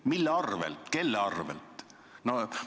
Mille arvel, kelle arvel?